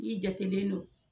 I jatelen don